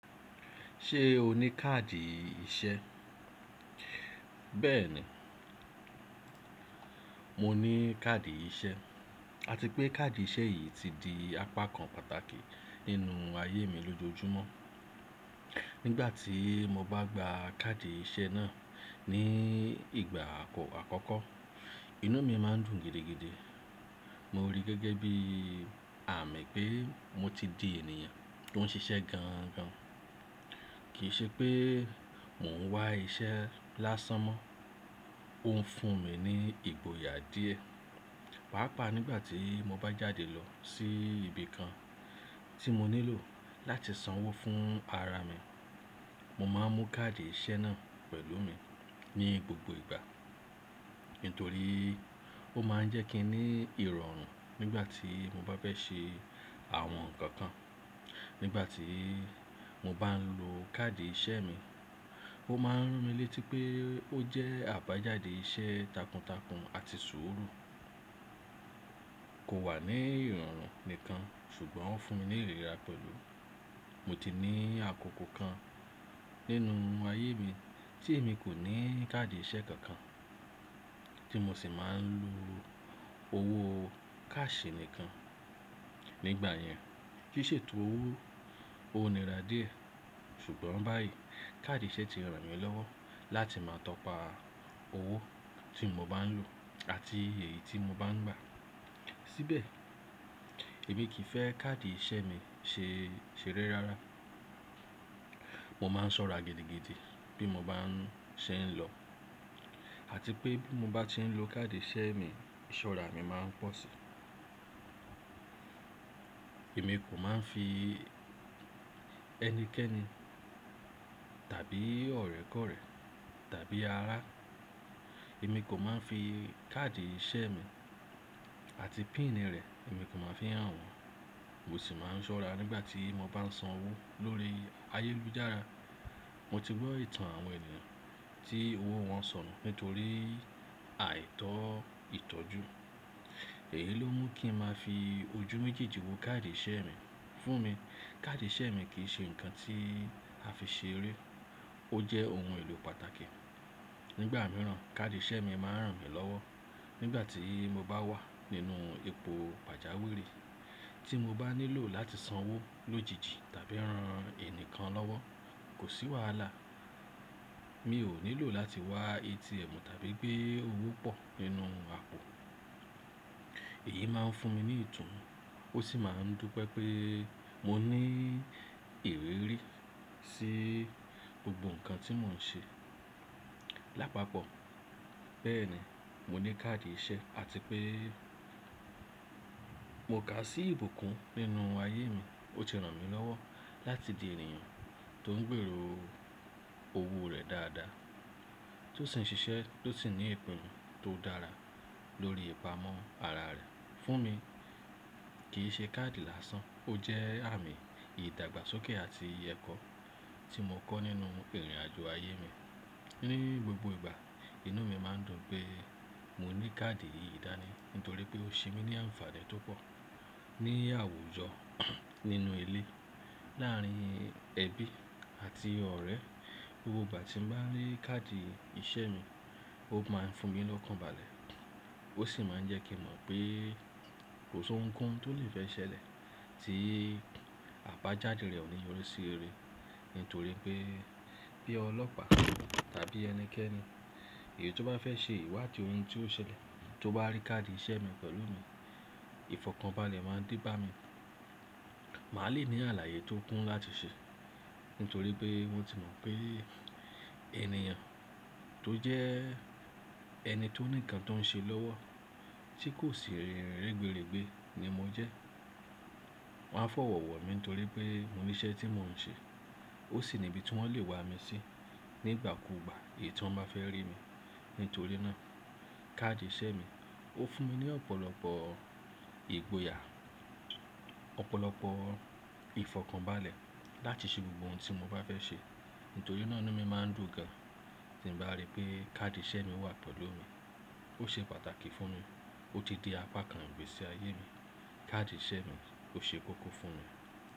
Ṣé o ní káàdì iṣẹ́? Bẹ́ẹ̀ni, mo ní káàdì iṣẹ́ àti pé káàdì iṣẹ́ yìí ti di apakan pàtàkì nínú ayé mi lójoojúmọ́. Nígbà tí mo bá gba káàdì iṣẹ́ náà ní ìgbà àkọ́ àkọ́kọ́, inú mi máa ń dùn gidigidi. Mo rí gẹ́gẹ́ bí àmì pé mo ti di ènìyàn tó ń ṣiṣẹ́ gan gan, kì í ṣe pé mò ń wá iṣẹ́ lásán mọ́. Ó ń fún mi ní ìgboyà díẹ̀, pàápàá nígbà tí mo bá jáde lọ sí ibi kan tí mo nílò láti sanwó fún ara mi. Mo máa ń mú káàdì iṣẹ́ náà pẹ̀lú mi ní gbogbo ìgbà, nítorí ó máa ń jẹ́ kí n ní ìrọ̀rùn nígbà tí mo bá fẹ́ ṣe àwọn nǹkan kan. Nígbà tí mo bá ń lo káàdì iṣẹ́ mi, ó máa ń ràn mí létí pé ó jẹ́ àbájáde iṣẹ́ takuntakun àti sùúrù. Kò wà ní ìrọ̀rùn nìkan ṣùgbọ́n ó ń fún mi ní ìríra pẹ̀lú. Mo ti ní àkókò kan nínú ayé mi tí èmi kò ní káàdì iṣẹ́ kankan tí mo sì máa ń lo owó káàṣì nìkan. Nígbà yẹn, kì í ṣe tó owó onírà díẹ̀ ṣùgbọ́n báyìí káàdì iṣẹ́ ti ràn mí lọ́wọ́ láti máa tọpa owó tí mo bá ń lo àti èyí tí mo bá ń gbà. Síbẹ̀, èmi kì í fẹ́ káàdì iṣẹ́ mi ṣe, ṣere rárá. Mo máa ń ṣọ́ra gidigidi bí mo bá ń ṣe ń lọ àti pé bí mo bá ti ń lo káàdì iṣẹ́ mi, ìṣọ́ra mi máa ń pọ̀ síi. Èmi kò máa ń fi ẹnikẹ́ni tàbí ọ̀rẹ́ kọ̀rẹ́ tàbí ará, èmi kò máa ń fi káàdì iṣẹ́ mi àti pin rẹ̀, èmi kò máa ń fi hàn wọ́n. Mo sì máa ń ṣọ́ra nígbà tí mo bá ń sanwó lórí ayélujára. Mo ti gbọ́ ìtàn àwọn ènìyàn tí owó wọn sọnù nítorí àìtọ́ ìtọ́jú. Èyí ló mú kí n máa fi ojú méjèèjì wo káàdì iṣẹ́ mi. Fún mi, káàdì iṣẹ́ mi kì í ṣe nǹkan tí a fi ṣe eré, ó jẹ́ ohun èlò pàtàkì. Nígbà mìíràn, káàdì iṣẹ́ mi máa ń ràn mí lọ́wọ́ nígbà tí mo bá wà nínú epo pajawiri tí mo bá nílò láti sanwó lójijì tàbí ran ẹni kan lọ́wọ́, kò sí wàhálà. Mi ò nílò láti wá ATM tàbí pe owó pọ̀ nínú àpò. Èyí máa ń fún mi ní ìtùnú, ó sì máa ń dùpé pé mo ní ìrírí sí gbogbo nǹkan tí mò ń ṣe lápapọ̀. Bẹ́ẹ̀ni, mo ní káàdì iṣẹ́ àti pé mo ká sí ìbùkún nínú ayé mi. Ó ti ràn mí lọ́wọ́ láti di ènìyàn tó ń gbèrò owó rẹ̀ dáadáa, tó sì ń ṣiṣẹ́, tó sì ní ìpinnu tó dára lórí ìpamọ́ ara rẹ̀. Fún mi, kì í ṣe káàdì lásán, ó jẹ́ àmì ìdàgbàsókè àti ekọ́ tí mo kọ́ nínú ìrìnàjò ayé mi. Ni gbogbo ìgbà, inú mi máa ń dùn pé mo ní káàdì yìí dání nítorí pé ó ṣe mí ní àǹfààní tó pọ̀ ní àwùjọ, nínú ilé, láàrín ẹbí àti ọ̀rẹ́. Gbogbo ìgbà tí n bá rí káàdì iṣẹ́ mi, ó máa ń fún mi lọ́kànbalẹ̀. Ó sì máa ń jẹ́ kí n mọ̀ pé kò sí ohunkóhun tó lè fẹ ṣe lè tí àbájáde rẹ̀ ò ní orí sí eré. Nítorí pé bí ọlọ́pàá tàbí ẹnikẹ́ni èyí tó bá fẹ́ ṣe ìwádìí ohun tí ó ṣẹlẹ̀ tó bá rí káàdì iṣẹ́ mi pẹ̀lú mi, ìfọ̀kànbalẹ̀ máa n dé bá mi. Màá le ní àlàyé tó kún láti ṣe, nítorí pé wọ́n ti mọ̀ pé ènìyàn tó jẹ́ ẹni tó ní ǹnkan tó ń ṣe lọ́wọ́ tí kò sì rin rẹ́gberẹ́gbe ni mo jẹ́. Wọ́n á fọ̀wọ̀wọ̀ mi nítorí pé mo ní iṣẹ́ tí mò ń ṣe, ó sì ni ibi tí wọ́n lè wa mi sí nígbà kúùgbà èyí tí wọ́n bá fẹ́ rí mi. Nítorí náà, káàdì iṣẹ́ mi ó fún mi ní ọ̀pọ̀lọpọ̀ ìgboyà, ọ̀pọ̀lọpọ̀ ìfọ̀kànbalẹ̀ láti ṣe gbogbo ohun tí mo bá fẹ́ ṣe. Nítorí náà inu mí máa ń dùn gan tí n bá rí pé káàdì iṣẹ́ mi wà pẹ̀lú mi. Ó ṣe pàtàkì fún mi, ó ti di apakan ìgbésí ayé mi. Káàdì iṣẹ́ mi ó ṣe kókó fún mi.